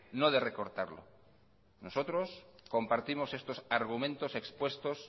no de recortarlo nosotros compartimos estos argumentos expuestos